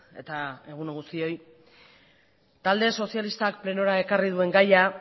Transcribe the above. eta egun on guztioi talde sozialistak plenora ekarri duen gaia